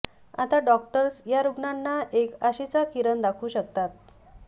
आता डॉक्टर्स या रुग्णांना एक आशेचा किरण दाखवू शकतात